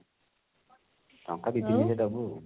ଟଙ୍କା ଦି ତିନି ହଜାର ଦବୁ ଆଉ